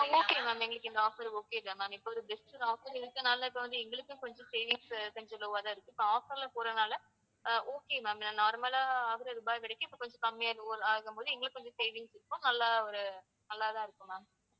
ஆஹ் okay ma'am எங்களுக்கு இந்த offer okay தான் ma'am இப்ப ஒரு best offer இருக்கிறதுனால இப்ப வந்து எங்களுக்கும் கொஞ்சம் savings கொஞ்சம் low ஆ தான் இருக்கு. இப்ப offer ல போறதுனால ah okay ma'am ah normal ஆ ஆகுற ரூபாய் இப்ப கொஞ்சம் கம்மியா ஆகும்போது எங்களுக்குக் கொஞ்சம் savings இருக்கும். நல்லா ஒரு நல்லா தான் இருக்கும் ma'am